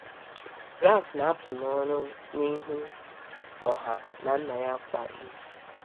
Ralph na-apụ n’ọrụ n’ihu ọha na nna ya kwa izu.